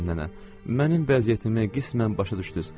Mənim vəziyyətimi qismən başa düşdüz.